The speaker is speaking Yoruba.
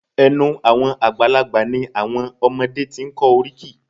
Ẹ̀nu àwọn àgbàlagbà ni àwọn ọmọdé ti ń kọ́ oríkì